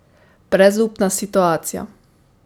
Brezupna situacija.